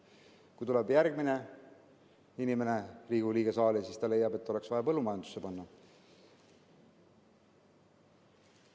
Kui tuleb järgmine inimene, Riigikogu liige, saali, siis ta leiab, et oleks vaja panna põllumajandusse.